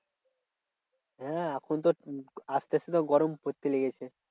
হ্যাঁ এখন তো আসতে আসতে তো গরম পড়তে লেগেছে।